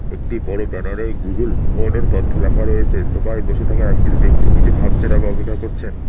একটি বড়ো ব্যানারে গুগল অর্ডার তথ্য লেখা রয়েছে সোফায় বসে থাকা একজন ব্যক্তি কিছু ভাবছেন আর অপেক্ষা করছেন